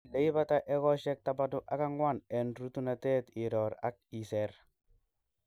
Ileibata iekosiek tamanu ak angwa en rutunet iror ak iser.